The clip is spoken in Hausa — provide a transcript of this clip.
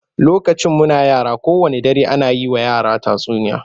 Lokacin muna yara, kowanne dare ana yi wa yara tatsuniya